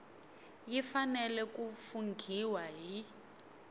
yi fanele ku funghiwa hi